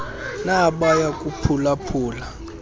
nabaya kuphula phula